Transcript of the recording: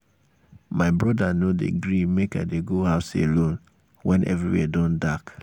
my broda no um dey gree make i dey go um house alone wen everywhere don dark.